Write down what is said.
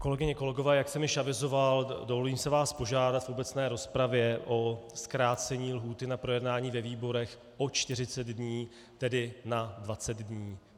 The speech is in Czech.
Kolegyně, kolegové, jak jsem již avizoval, dovolím si vás požádat v obecné rozpravě o zkrácení lhůty na projednání ve výborech o 40 dní, tedy na 20 dní.